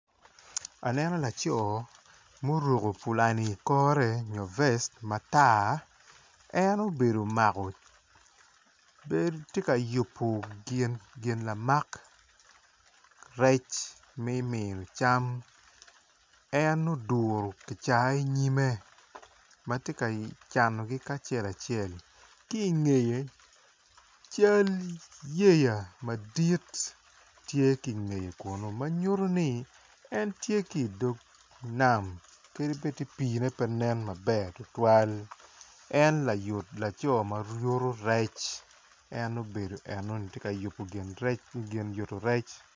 Aneno laco ma oruko pulani ikore nyo vest matar en obedo omako bene tye ka yubo gin lamak rec me miyo can en oduro gicaka i nyime matye ka canogi acel acel kingeye can yeya madit tye kingeye kunu manyuto ni en tye kidog nam kadi bed pine pe nen maleng tutwal en layut laco mayuto rec en obedo enoni tye yubo gin yuto rec.